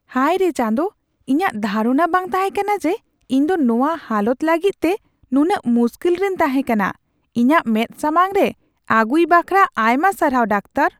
ᱦᱟᱭᱨᱮ ᱪᱟᱸᱫᱚ ! ᱤᱧᱟᱜ ᱫᱷᱟᱨᱚᱱᱟ ᱵᱟᱝ ᱛᱟᱦᱮᱠᱟᱱᱟ ᱡᱮ ᱤᱧ ᱫᱚ ᱱᱚᱣᱟ ᱦᱟᱞᱚᱛ ᱞᱟᱹᱜᱤᱫᱛᱮ ᱱᱩᱱᱟᱹᱜ ᱢᱩᱥᱠᱤᱞ ᱨᱮᱧ ᱛᱟᱦᱮᱠᱟᱱᱟ ᱾ ᱤᱧᱟᱜ ᱢᱮᱫ ᱥᱟᱢᱟᱝ ᱨᱮ ᱟᱹᱜᱩᱭ ᱵᱟᱠᱷᱨᱟ ᱟᱭᱢᱟ ᱥᱟᱨᱦᱟᱣ, ᱰᱟᱠᱛᱚᱨ ᱾